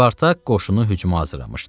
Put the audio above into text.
Spartak qoşunu hücuma hazırlamışdı.